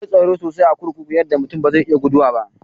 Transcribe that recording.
Akwai tsaro sosai a kurkuku yadda mutum ba zai iya guduwa ba.